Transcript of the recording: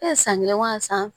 E ye san kelen wa san